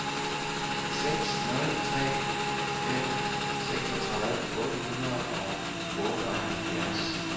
seks nul tre fem seksogtredive otte hundrede og otteoghalvfjerds